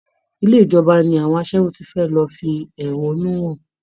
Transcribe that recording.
Ilé ìjọba ni àwọn aṣẹ́wó ti fẹ́ lọ fi ẹ̀hónú hàn